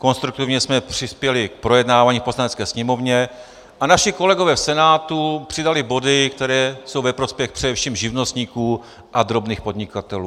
Konstruktivně jsme přispěli k projednávání v Poslanecké sněmovně a naši kolegové v Senátu přidali body, které jsou ve prospěch především živnostníků a drobných podnikatelů.